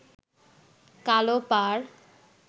কালো পাড়